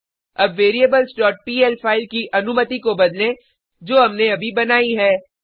अब variablesपीएल फाइल की अनुमति को बदलें जो हमने अभी बनाई है